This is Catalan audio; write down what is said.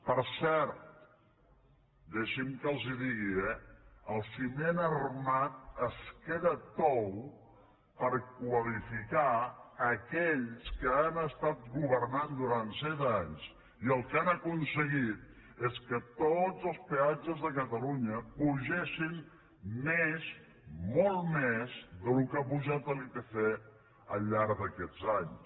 per cert deixi’m que els ho digui eh el ciment armat es queda tou per qualificar aquells que han estat governant durant set anys i el que han aconseguit és que tots els peatges de catalunya pugessin més molt més del que ha pujat l’ipc al llarg d’aquests anys